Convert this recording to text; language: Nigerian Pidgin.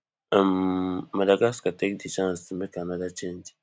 um madagascar take di chance to make anoda change